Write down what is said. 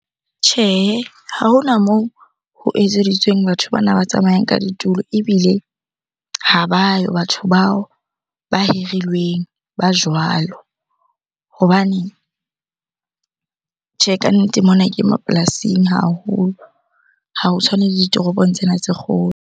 Tjhehe, ha hona moo ho etseditsweng batho bana ba tsamayang ka ditulo ebile ha ba yo batho bao ba hirilweng ba jwalo. Hobane tjhe, kannete mona ke mapolasing haholo ha ho tshwane le ditoropong tsena tse kgolo.